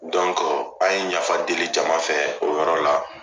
an ye yafa deli jama fɛ o yɔrɔ la.